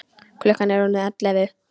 Klukkan er orðin ellefu.